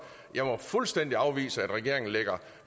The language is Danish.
jeg må fuldstændig afvise at regeringen ligger